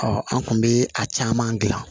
an kun bɛ a caman gilan